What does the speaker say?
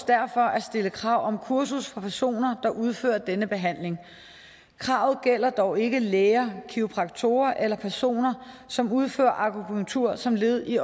derfor at stille krav om kursus for personer der udfører denne behandling kravet gælder dog ikke læger kiropraktorer eller personer som udfører akupunktur som led i